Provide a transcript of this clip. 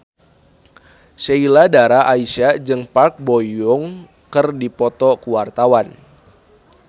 Sheila Dara Aisha jeung Park Bo Yung keur dipoto ku wartawan